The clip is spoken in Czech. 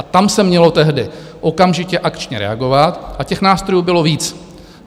A tam se mělo tehdy okamžitě akčně reagovat a těch nástrojů bylo víc.